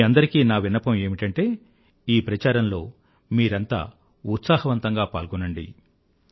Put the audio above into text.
మీ అందరికీ నా విన్నపం ఏమిటంటే ఈ ప్రచారంలో మీరంతా ఉత్సాహవంతంగా పాల్గోండి